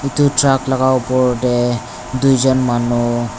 edu truck laka opor tae tuijon manu.